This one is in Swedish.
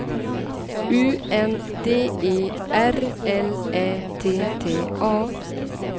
U N D E R L Ä T T A